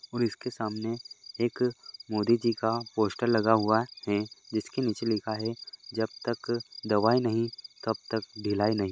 और इसके सामने एक मोदी जी का पोस्टर लगा हुआ है जिसके नीचे लिखा है जब तक दवाई नहीं तब तक ढिलाई नहीं।